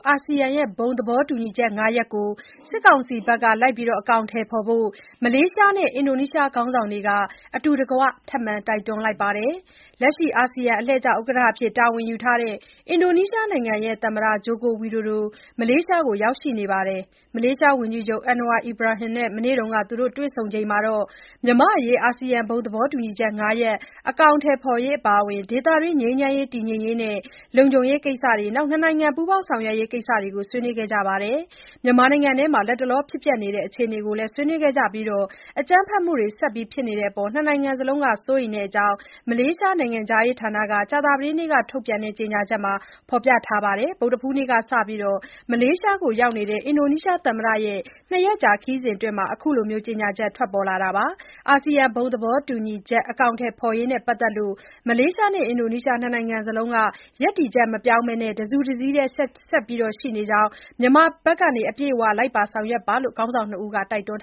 အာဆီယံ ဘုံသဘောတူညီချက် ၅ ရပ်ကို မြန်မာ စစ်ကောင်စီဘက်က လိုက်ပါ အကောင်အထည်ဖော်ဖို့ မလေးရှားနဲ့ အင်ဒိုနီးရှားနိုင်ငံခေါင်းဆောင်တွေက အတူတကွ ထပ်မံတိုက်တွန်းလိုက်ပါတယ်။ လက်ရှိ အာဆီယံ အလှည့်ကျ ဥက္ကဋ္ဌ တာဝန်ယူထားတဲ့ အင်ဒိုနီးရှားနိုင်ငံ သမ္မတ Joko Widodo မလေးရှားကို ရောက်နေပြီး မလေးရှား ဝန်ကြီးချုပ် Anwar Ibrahim နဲ့ မနေ့က တွေ့ဆုံချိန်မှာ မြန်မာ့အရေး အာဆီယံ ဘုံသဘောတူညီချက် ၅ ရပ် အကောင်အထည် ဖော်ရေး အပါအဝင် ဒေသတွင်း ငြိမ်းချမ်းရေး၊ တည်ငြိမ်ရေးနဲ့ လုံခြုံရေး ကိစ္စတွေနဲ့ နှစ်နိုင်ငံ ပူးပေါင်းဆောင်ရွက်ရေး ကိစ္စတွေ ဆွေးနွေးခဲ့ကြတာပါ။ မြန်မာနိုင်ငံအတွင်း လတ်တလော ဖြစ်ပျက်နေတဲ့ အခြေအနေတွေကို ဆွေးနွေးခဲ့ကြပြီး အကြမ်းဖက်မှုတွေ ဆက်ဖြစ်နေတဲ့အပေါ် နှစ်နိုင်ငံလုံးက စိုးရိမ်တဲ့အကြောင်း မလေးရှား နိုင်ငံခြားရေးဌာနက ကြာသပတေးနေ့က ထုတ်ပြန်တဲ့ ကြေညာချက်မှာ ဖော်ပြထားပါတယ်။ ဗုဒ္ဓဟူးနေ့ကစပြီး မလေးရှားကို ရောက်နေတဲ့ အင်ဒိုနီးရှားသမ္မတရဲ့ နှစ်ရက်ကြာ ခရီးစဉ်အတွင်း အခု ကြေညာချက် ထွက်လာတာပါ။ အာဆီယံ ဘုံသဘောတူညီချက် အကောင်အထည်ဖော်ရေးနဲ့ ပတ်သက်လို့ မလေးရှားနဲ့ အင်ဒိုနီးရှား နှစ်နိုင်လုံးက ရပ်တည်ချက် မပြောင်းဘဲ တစုတစည်းတည်း ဆက်ရှိနေတဲ့အကြောင်းနဲ့ မြန်မာဘက်က အပြည့်အ၀ လိုက်ပါဆောင်ရွက်ဖို့ ခေါင်းဆောင်နှစ်ဦးက တိုက်တွန်း